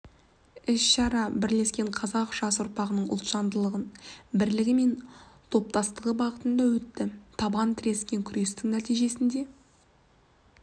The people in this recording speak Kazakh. іс-шара бірлескен қазақстан жас ұрпағының ұлтжандылығы бірлігі мен топтастығы бағытында өтті табан тірескен күрестің нәтижесінде